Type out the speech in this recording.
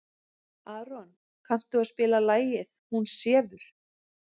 Aron, kanntu að spila lagið „Hún sefur“?